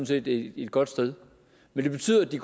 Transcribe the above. set et godt sted men det betyder at de